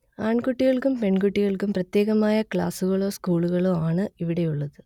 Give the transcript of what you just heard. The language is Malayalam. ആൺകുട്ടികൾക്കും പെൺകുട്ടികൾക്കും പ്രത്യേകമായ ക്ലാസുകളോ സ്കൂളുകളോ ആണ് ഇവിടെയുള്ളത്